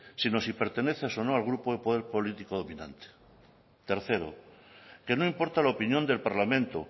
sino si perteneces o no al grupo de poder político dominante tercero que no importa la opinión del parlamento